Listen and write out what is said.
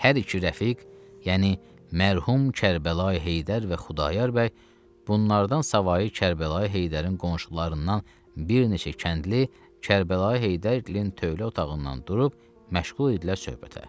Hər iki rəfiq, yəni mərhum Kərbəlayi Heydər və Xudayar bəy, bunlardan savayı Kərbəlayi Heydərin qonşularından bir neçə kəndli Kərbəlayi Heydərgilin tövlə otağından durub məşğul idilər söhbətə.